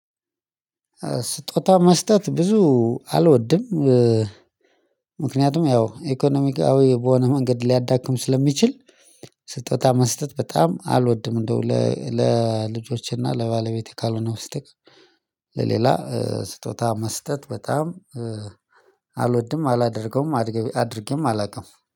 ስጦታ መስጠት ብዙ አልወድም። ምክንያቱም ያው ኢኮኖሚያዊ በሆነ መንገድ ሊያዳክም ስለሚችል። ስጦታ መስጠት በጣም አልወድም እንደው ለልጆችና ለባለቤቴ ካልሆነ በስተቀር። ለሌላ ስጦታ መስጠት በጣም አልወድም አላደርገውም አድርጌም አላውቅም።